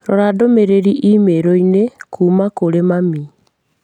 Rora ndũmĩrĩri i-mīrū inĩ kuuma kũrĩ mami.